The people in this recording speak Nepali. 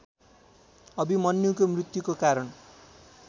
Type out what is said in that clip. अभिमन्युको मृत्युको कारण